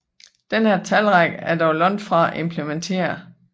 Denne talrække er dog langt fra implementeret